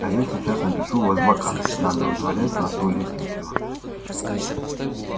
а я сейчас напишу в азкабан надо вызволять нашего лесничего